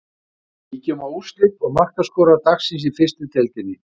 Kíkjum á úrslit og markaskorara dagsins í fyrstu deildinni.